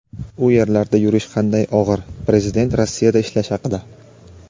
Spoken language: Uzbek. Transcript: u yerlarda yurish qanday og‘ir – Prezident Rossiyada ishlash haqida.